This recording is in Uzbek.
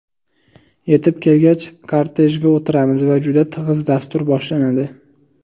Yetib kelgach, kortejga o‘tiramiz va juda tig‘iz dastur boshlanadi.